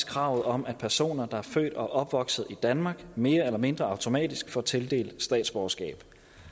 kravet om at personer der er født og opvokset i danmark mere eller mindre automatisk får tildelt statsborgerskab